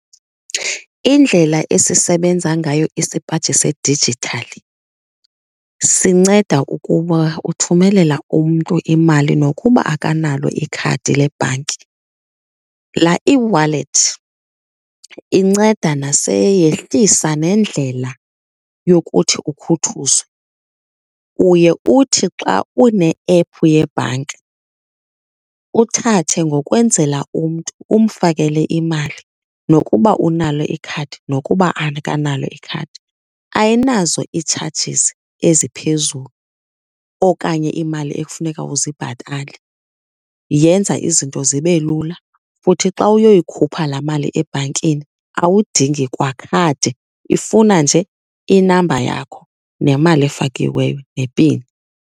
Indlela esisebenza ngayo isipaji sedijithali sinceda ukuba uthumelela umntu imali nokuba akanalo ikhadi lebhanki. Laa eWallet inceda yehlisa nendlela yokuthi ukhuthuzwe. Uye uthi xa une-ephu yebhanka uthathe ngokwenzela umntu, umfakele imali nokuba unalo ikhadi nokuba akanalo ikhadi. Ayinazo ii-charges eziphezulu okanye iimali ekufuneka uzibhatale. Yenza izinto zibe lula futhi xa uyoyikhupha laa mali ebhankini awudingi kwakhadi, ifuna nje i-number yakho nemali efakiweyo nepini.